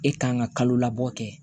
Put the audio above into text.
E kan ka kalo labɔ kɛ